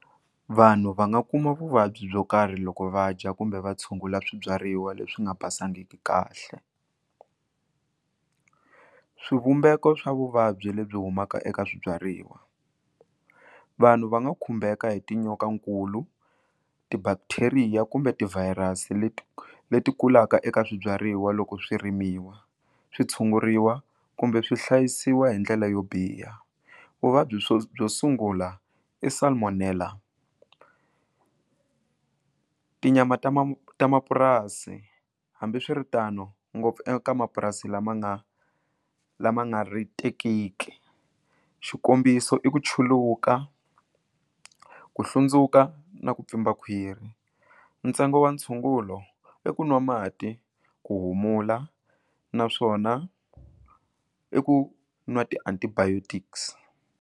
Vanhu va nga kuma vuvabyi byo karhi loko va dya kumbe va tshungula swibyariwa leswi nga basangiki kahle swivumbeko swa vuvabyi lebyi humaka eka swibyariwa vanhu va nga khumbeka hi tinyokankulu ti bacteria kumbe ti virus leti leti kulaka eka swibyariwa loko swi rimiwa switshunguriwa kumbe swi hlayisiwa hi ndlela yo biha vuvabyi swo byo sungula i salmonella tinyama ta ma ta mapurasi hambiswiritano ngopfu eka mapurasi lama nga lama nga ri tekiki xikombiso i ku chuluka ku hlundzuka na ku pfimba khwiri ntsengo wa ntshungulo i ku nwa mati ku humula naswona i ku nwa ti antibiotics.